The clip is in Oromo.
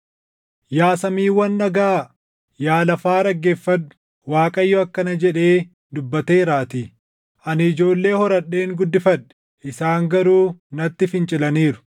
Yaa Samiiwwan dhagaʼaa! Yaa lafa dhaggeeffadhu! Waaqayyo akkana jedhee dubbateeraatii: “Ani ijoollee horadheen guddifadhe; isaan garuu natti fincilaniiru.